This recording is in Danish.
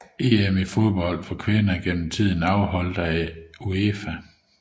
EM i fodbold for kvinder gennem tiden afholdt af UEFA